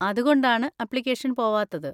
അതുകൊണ്ടാണ് അപ്ലിക്കേഷൻ പോവാത്തത്.